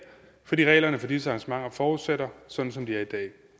fordi reglerne for disse arrangementer fortsætter sådan som de er i dag